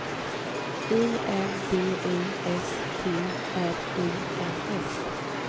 I N D U S T R I N S